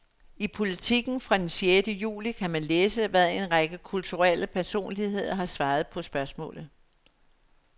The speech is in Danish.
I Politiken fra den sjette juli kan man læse, hvad en række kulturelle personligheder har svaret på spørgsmålet.